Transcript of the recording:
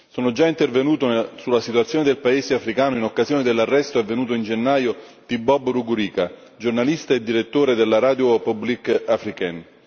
Sono già intervenuto sulla situazione del paese africano in occasione dell'arresto avvenuto in gennaio di Bob Rugurika, giornalista e direttore della Radio Publique Africaine.